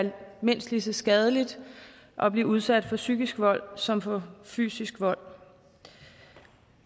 mindst lige så skadeligt at blive udsat for psykisk vold som for fysisk vold